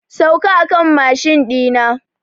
Sauka a kan mashin ɗi na!